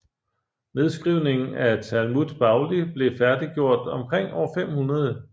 Nedskrivningen af Talmud Bavli blev færdiggjort omkring år 500